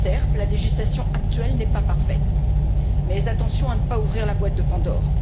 Certes, la législation actuelle n'est pas parfaite, mais attention à ne pas ouvrir la boîte de Pandore.